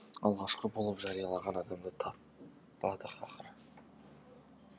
алғашқы болып жариялаған адамды таппадық ақыры